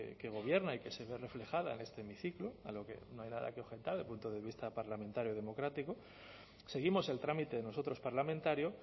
que gobierna y que se ve reflejada en este hemiciclo a lo que no hay nada que objetar desde el punto de vista parlamentario democrático seguimos el trámite nosotros parlamentario